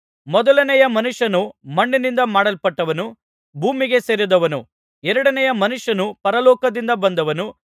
ಮೊದಲನೆಯ ಮನುಷ್ಯನು ಮಣ್ಣಿನಿಂದ ಮಾಡಲ್ಪಟ್ಟವನು ಭೂಮಿಗೆ ಸೇರಿದವನು ಎರಡನೆಯ ಮನುಷ್ಯನು ಪರಲೋಕದಿಂದ ಬಂದವನು